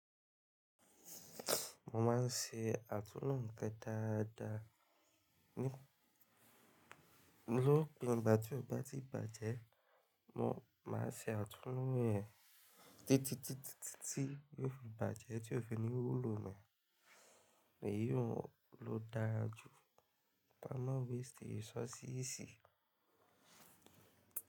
Mo máa ń ṣe àtúnú nnkan dáadáa. Ní lópin, ìgbà tí ò gbá ti bàjẹ́, mo máa ṣe àtúnú rẹ̀ títí tití titi ó fi bàjẹ́, tí ó fi ní wúlò mọ́, èyí hun ló dájú. Kama wasti resources si.